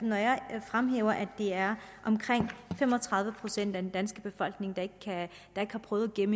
når jeg fremhæver at det er omkring fem og tredive procent af den danske befolkning der ikke har prøvet at gemme